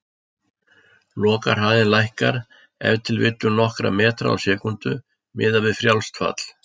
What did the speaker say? Lokahraðinn lækkar ef til vill um nokkra metra á sekúndu, miðað við frjálst fall.